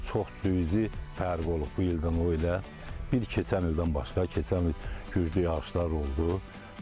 Çox cuz fərq olub bu ildən o ilə, bir keçən ildən başqa, keçən il güclü yağışlar oldu.